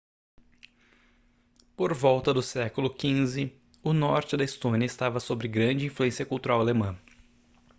por volta do século xv o norte da estônia estava sobre grande influência cultural alemã